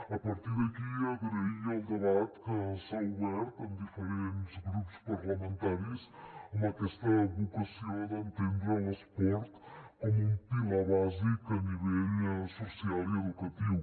a partir d’aquí agrair el debat que s’ha obert en diferents grups parlamentaris amb aquesta vocació d’entendre l’esport com un pilar bàsic a nivell social i educatiu